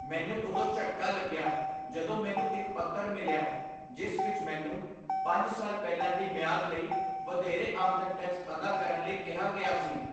ਮੈਨੂੰ ਉਦੋਂ ਝਟਕਾ ਲੱਗਿਆ ਜਦੋਂ ਮੈਨੂੰ ਇੱਕ ਪੱਤਰ ਮਿਲਿਆ ਜਿਸ ਵਿੱਚ ਮੈਨੂੰ ਪੰਜ ਸਾਲ ਪਹਿਲਾਂ ਦੀ ਮਿਆਦ ਲਈ ਵਧੇਰੇ ਆਮਦਨ ਟੈਕਸ ਅਦਾ ਕਰਨ ਲਈ ਕਿਹਾ ਗਿਆ ਸੀ